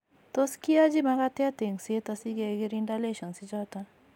Tot keyachi makatet engset asi kegirinda lessions ichoton